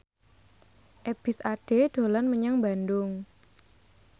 Ebith Ade dolan menyang Bandung